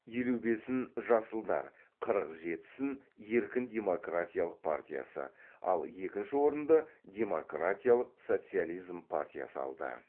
елу бесін жасылдар қырық жетісін еркін демократиялық партиясы ал екінші орынды демократиялық социализм партиясы алды